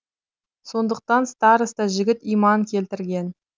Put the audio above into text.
сондықтан староста жігіт иман келтірген